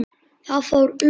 Það fór um okkur.